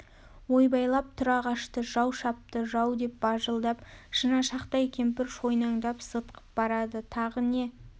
ойбайлап тұра қашты жау шапты жау деп бажылдап шынашақтай кемпір шойнаңдап зытқып барады тағы не